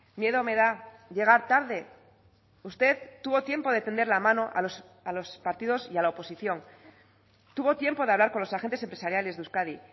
miedo me da llegar tarde usted tuvo tiempo de tender la mano a los partidos y a la oposición tuvo tiempo de hablar con los agentes empresariales de euskadi